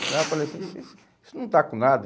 Né eu falei assim, isso não está com nada.